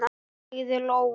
sagði Lóa.